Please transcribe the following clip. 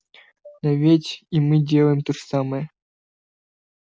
но ведь и мы делаем то же самое